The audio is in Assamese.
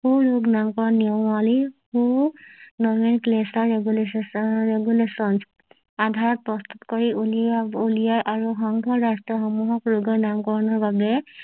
ৰেগুলেশ্যন আধাৰত প্ৰস্তুত কৰি উলিয়া উলিয়াই আৰু সংঘৰ ৰাষ্ট্ৰ সমূহক ৰোগীৰ নাম কৰণৰ বাবে